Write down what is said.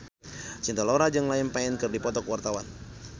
Cinta Laura jeung Liam Payne keur dipoto ku wartawan